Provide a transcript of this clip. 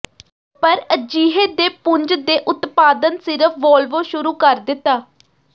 ਪਰ ਅਜਿਹੇ ਦੇ ਪੁੰਜ ਦੇ ਉਤਪਾਦਨ ਸਿਰਫ ਵੋਲਵੋ ਸ਼ੁਰੂ ਕਰ ਦਿੱਤਾ